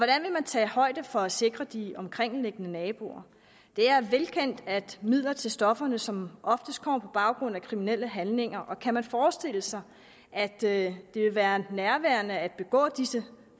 man tage højde for at sikre de omkringliggende naboer det er velkendt at midler til stofferne som oftest kommer på baggrund af kriminelle handlinger og kan man forestille sig at det vil være nærliggende at begå disse